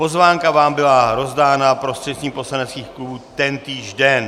Pozvánka vám byla rozdána prostřednictvím poslaneckých klubů tentýž den.